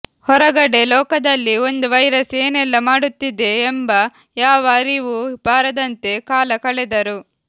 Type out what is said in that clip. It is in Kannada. ಹೊರಗಡೆ ಲೋಕದಲ್ಲಿ ಒಂದು ವೈರಸ್ ಏನೆಲ್ಲ ಮಾಡುತ್ತಿದೆ ಎಂಬ ಯಾವ ಅರಿವೂ ಬಾರದಂತೆ ಕಾಲ ಕಳೆದರು